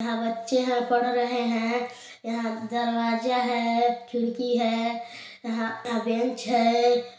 यहाँ बच्चे है पढ़ रहे है यहा दरवाजा है खिड़की है बेंच है।